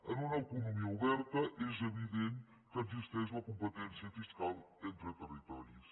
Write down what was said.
en una economia oberta és evident que existeix la competència fiscal entre territoris